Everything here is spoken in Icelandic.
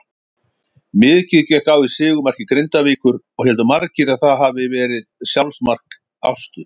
Mikið gekk á í sigurmarki Grindavíkur og héldu margir að það hafiði verið sjálfsmark Ástu.